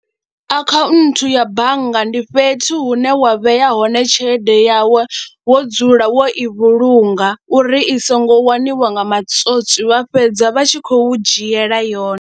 Akhaunthu ya bannga ndi fhethu hune wa vheya hone tshelede yawu wo dzula wo i vhulunga uri i songo waniwa nga matswotswi vha fhedza vha tshi khou dzhiela yone.